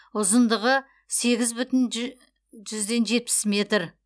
ұзындығы сегіз бүтін жүзден жетпіс метр